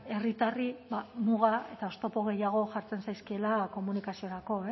herritarri muga eta oztopo gehiago jartzen zaizkiela komunikaziorako